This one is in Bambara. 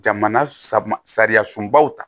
Jamana sab sariya sunbaw ta